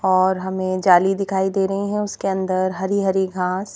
और हमें जाली दिखाई दे रही हैं उसके अंदर हरी-हरी घास।